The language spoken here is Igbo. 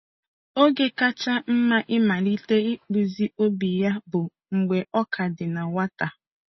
Oge kacha mma ịmalite ịkpụzi obi ya bụ mgbe ọ ka dị na nwata.